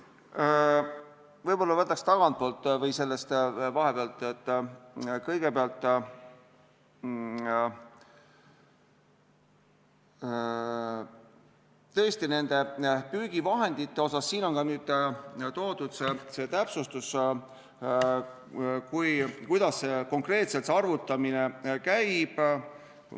Võib-olla alustaks tagantpoolt või sellest, et tõesti, püügivahendite puhul on nüüd toodud see täpsustus, kuidas konkreetselt see arvutamine käib.